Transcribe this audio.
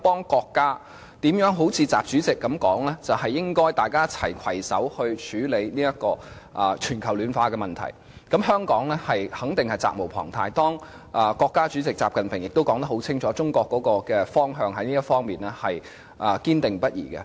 既然習主席表示大家應攜手處理全球暖化問題，香港在協助國家方面肯定責無旁貸，而習主席亦已清楚說明，中國在此事的方向堅定不移。